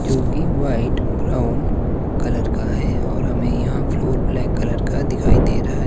जो की white brown colour का है और हमें यहां फ्लोर ब्लैक कलर का दिखाई दे रहा है।